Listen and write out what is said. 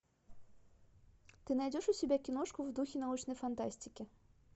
ты найдешь у себя киношку в духе научной фантастики